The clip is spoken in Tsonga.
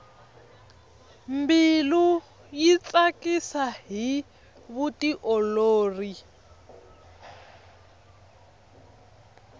mbilu yi tsakisa hi vutiolori